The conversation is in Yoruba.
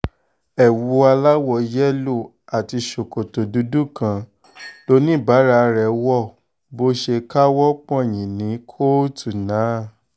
ewu aláwọ̀ yẹ́lò àti ṣòkòtò dúdú kan lọ́níbàárà rẹ̀ wo bó um ṣe káwọ́ pọ̀nyìn ní um kóòtù náà